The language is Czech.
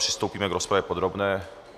Přistoupíme k rozpravě podrobné.